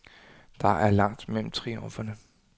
Der er langt mellem triumferne.